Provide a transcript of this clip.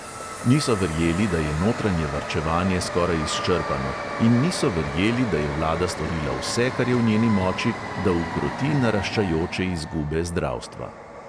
Niso verjeli, da je notranje varčevanje skoraj izčrpano, in niso verjeli, da je vlada storila vse, kar je v njeni moči, da ukroti naraščajoče izgube zdravstva.